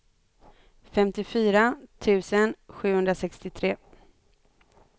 femtiofyra tusen sjuhundrasextiotre